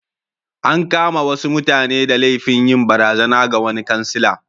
An kama wasu mutane da laifin yin barazana ga wani kansila.